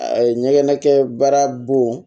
A ye ɲɛgɛn kɛ baara bon